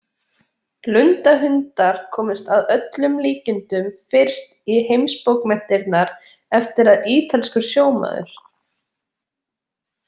Lundahundar komust að öllum líkindum fyrst í heimsbókmenntirnar eftir að ítalskur sjómaður.